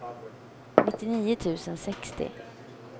nittionio tusen sextio